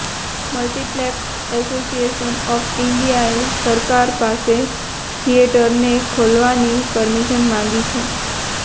multiplex association of ઇન્ડિયાએ સરકાર પાસે થિયેટરને ખોલવાની પરમિશન માંગી છે